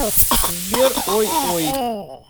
сбер ой ой